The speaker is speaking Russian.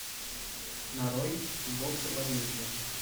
нарой кикбоксер возмездие